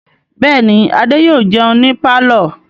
Bẹ́ẹ̀ ni, Adé yóò jẹun ní pálọ̀.